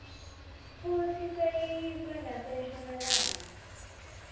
futsi sesiyiswe nasenshonalanga